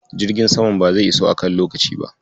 Jirgin saman ba zai iso a kan lokaci ba.